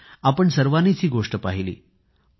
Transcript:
आपण सर्वांनीच ही गोष्ट पाहिली आहे